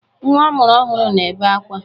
Nwa a mụrụ ọhụrụ na-ebe akwa.